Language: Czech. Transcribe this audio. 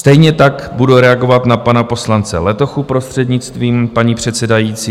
Stejně tak budu reagovat na pana poslance Letochu, prostřednictvím paní předsedající.